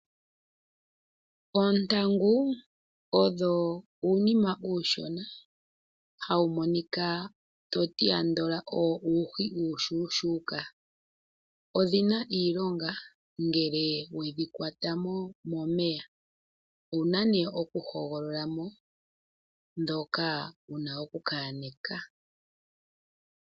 Oontangu odho uunima uushona, hawu monika to ti andola uuhi uushuushuuka, odhina iilonga ngele weshi kwata mo momeya, owuna nee oku hogolola mo dhoka wuna oku ka yane ka.